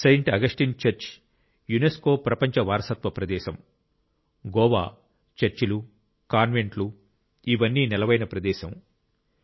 Saint Augustine church UNESCO ప్రపంచ వారసత్వ ప్రదేశం గోవా చర్చిలు కాన్వెంట్లు ఇవన్నీ నెలవైన ప్రదేశం గోవా